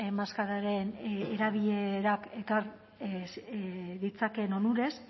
maskararen erabilerak ekar ditzakeen onurez